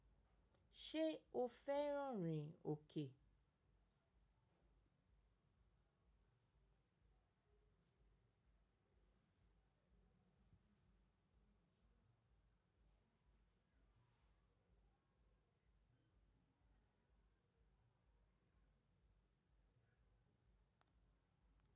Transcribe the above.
Ṣé o fẹ́ràn rìn òkè?